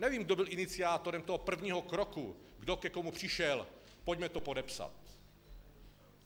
Nevím, kdo byl iniciátorem toho prvního kroku, kdo ke komu přišel, pojďme to podepsat.